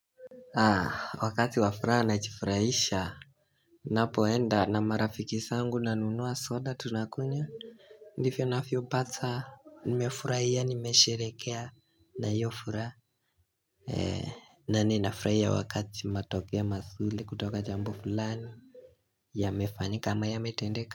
Haa wakati wa furaha najifurahisha napoenda na marafiki zangu nanunua soda tunakunywa Ndivyo navyopata nimefurahia nimesherekea na hiyo furaha na ninafurahia wakati matokea mazuri kutoka jambo fulani Yamefanyika ama yametendeka.